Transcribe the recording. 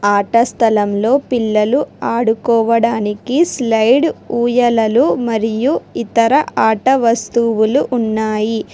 ఆట స్థలంలో పిల్లలు ఆడుకోవడానికి స్లాయిడ్ ఊయలలు మరియు ఇతర ఆట వస్తువులు ఉన్నాయి.